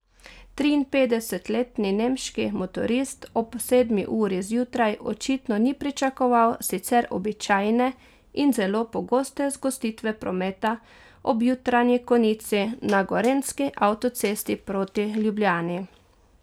Triinpetdesetletni nemški motorist ob sedmi uri zjutraj očitno ni pričakoval sicer običajne in zelo pogoste zgostitve prometa ob jutranji konici na gorenjski avtocesti proti Ljubljani.